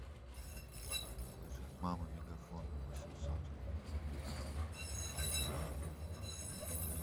положить мама мегафон восемьсот